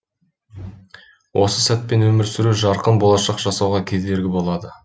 осы сәтпен өмір сүру жарқын болашақ жасауға кедергі болады